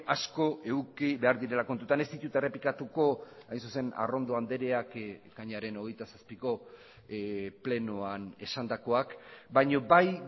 asko eduki behar direla kontutan ez ditut errepikatuko hain zuzen arrondo andreak ekainaren hogeita zazpiko plenoan esandakoak baina bai